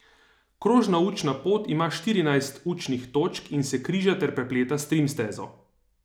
Krožna učna pot ima štirinajst učnih točk in se križa ter prepleta s trim stezo.